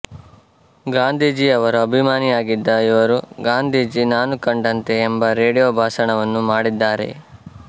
ಗಾಂಧೀಜಿಯವರ ಅಭಿಮಾನಿಯಾಗಿದ್ದ ಇವರು ಗಾಂಧೀಜಿ ನಾನು ಕಂಡಂತೆ ಎಂಬ ರೇಡಿಯೋ ಭಾಷಣವನ್ನು ಮಾಡಿದ್ದಾರೆ